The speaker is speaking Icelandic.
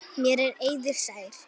Mér er eiður sær.